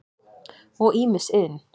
og ýmis iðn.